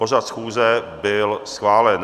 Pořad schůze byl schválen.